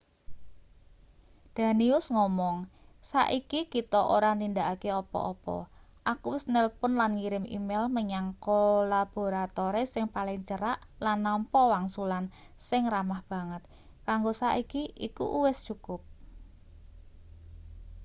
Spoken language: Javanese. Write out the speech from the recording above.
danius ngomong saiki kita ora nindakake apa-apa aku wis nelpon lan ngirim email menyang kolaboratore sing paling cerak lan nampa wangsulan sing ramah banget kanggo saiki iku wis cukup